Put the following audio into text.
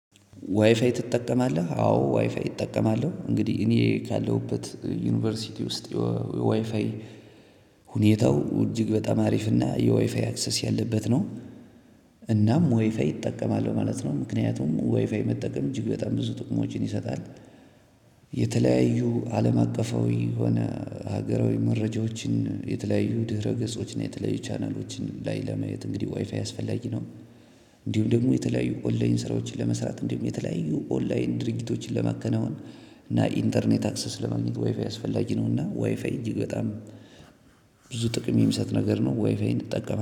ዋይፋይ ትጠቀማለህ አዎ ዋይፋይ እጠቀማለሁ እንግዲህ እኔ ካለሁበት ዩኒቨርሲቲ ውስጥ የዋይፋይ ሁኔታው እጅግ በጣም አሪፍና የወይፋይ አክሰስ ያለበት ነው። እናም ወይፋይ ይጠቀማል ማለት ነው ምክንያቱም ወይፋይ መጠቀም እጅግ በጣም ብዙ ጥቅሞችን ይሰጣል። የተለያዩ አለም አቀፋዊ የሆነ ሀገራዊ መረጃዎችን የተለያዩ ድረገጾችን የተለያዩ ቻናሎችን ላይ ለመየት እንግዲህ ዋይፋ ያስፈላጊ ነው። እንዲሁም ደግሞ የተለያዩ ኦንላይን ስራዎችን ለመስራት እንዲሁም የተለያዩ ኦንላይን ድርጊቶችን ለማከናወን። እና ኢንተርኔት አክሰስ ለማግኘት ዋይፋይ አስፈላጊ ነው እና ዋይፋይ እጅግ በጣም ብዙ ጥቅም የሚሰጥ ነገር ነው። ዋይፋይ መጠቀም